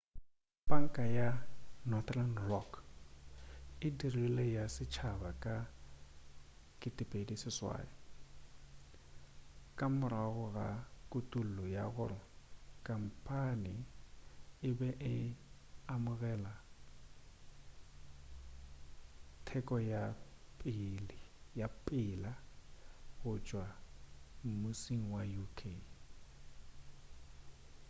panka ya northern rock e dirilwe ya setšhaba ka 2008 ka morago ga kutullo ya gore khampane e be e amogela thekgo ya ka pela go tšwa mmusing wa uk